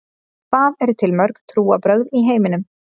Hvað eru til mörg trúarbrögð í heiminum?